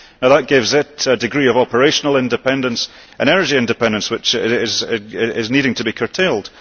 That gives it a degree of operational independence, an energy independence which needs to be curtailed.